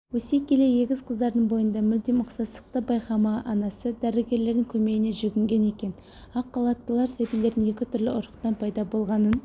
өсе келе егіз қыздардың бойында мүлдем ұқсастықты байқамаған анасы дәрігерлердің көмегіне жүгінген екен ақ халаттылар сәбилердің екі түрлі ұрықтан пайда болғанын